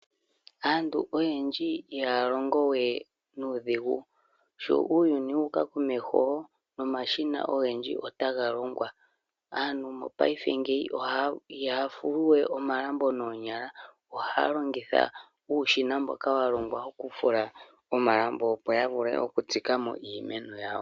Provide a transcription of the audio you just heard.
Aantu oyendji ihaya longo we nuudhigu sho uuyuni wuka komeho nomashina ogendji otaga longwa. Aantu mopayife ngeyi ihaya fulu we omalambo noonyala ohaya longitha uushina mboka wa longwa okufula omalambo opo yavule okutsikamo iimeno yawo.